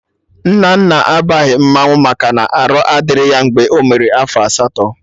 Nnanna abaghị mmanwụ maka na arụ adịrọ ya mgbe ọ mere afọ asatọ